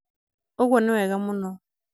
ũguo nĩ wega mũno